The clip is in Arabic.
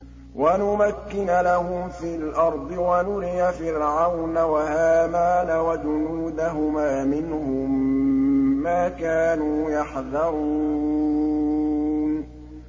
وَنُمَكِّنَ لَهُمْ فِي الْأَرْضِ وَنُرِيَ فِرْعَوْنَ وَهَامَانَ وَجُنُودَهُمَا مِنْهُم مَّا كَانُوا يَحْذَرُونَ